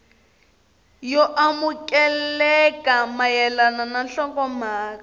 yo amukeleka mayelana na nhlokomhaka